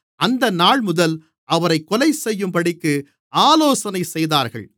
அந்தநாள்முதல் அவரைக் கொலைசெய்யும்படிக்கு ஆலோசனை செய்தார்கள்